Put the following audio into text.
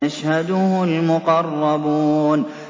يَشْهَدُهُ الْمُقَرَّبُونَ